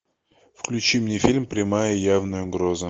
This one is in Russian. включи мне фильм прямая явная угроза